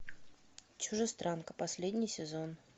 чужестранка последний сезон